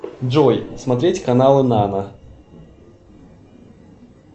джой смотреть каналы нано